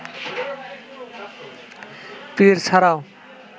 পীর ছাড়াও